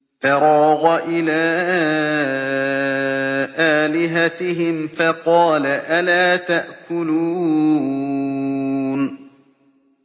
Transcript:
فَرَاغَ إِلَىٰ آلِهَتِهِمْ فَقَالَ أَلَا تَأْكُلُونَ